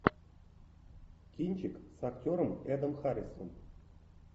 кинчик с актером эдом харрисом